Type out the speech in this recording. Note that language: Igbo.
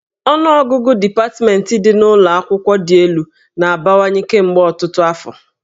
Ọnụọgụgụ dipatmentị ndị dị n'ụlọ akwụkwọ dị elu na-abawanye kemgbe ọtụtụ afọ